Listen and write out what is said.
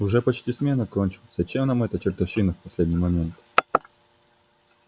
уже почти смена наша кончилась зачем нам эта чертовщина в последний момент